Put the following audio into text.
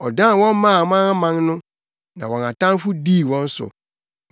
Ɔdan wɔn maa amanaman no, na wɔn atamfo dii wɔn so.